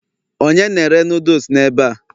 onye na-ere noodles n'ebe a?